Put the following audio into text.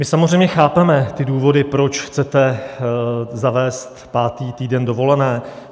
My samozřejmě chápeme ty důvody, proč chcete zavést pátý týden dovolené.